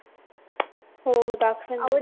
हो हो दाखविण